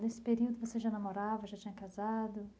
Nesse período você já namorava, já tinha casado?